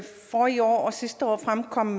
om